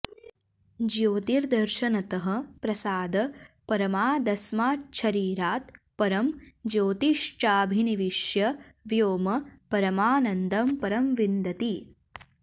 ज्योतिर्दर्शनतः प्रसादपरमादस्माच्छरीरात् परं ज्योतिश्चाभिनिविश्य व्योम परमानन्दं परं विन्दति